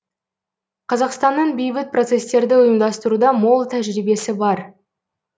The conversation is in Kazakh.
қазақстанның бейбіт процесстерді ұйымдастыруда мол тәжірибесі бар